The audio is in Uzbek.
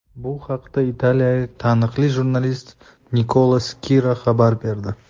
Bu haqda italiyalik taniqli jurnalist Nikola Skira xabar berdi.